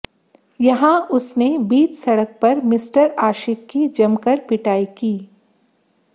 यहां उसने बीच सड़क पर मिस्टर आशिक की जमकर पिटाई की